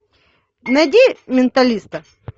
найди менталиста